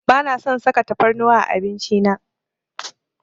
Bana son saka tafarnuwa a abinci na.